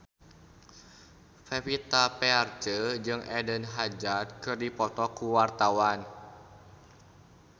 Pevita Pearce jeung Eden Hazard keur dipoto ku wartawan